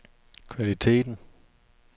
kvaliteten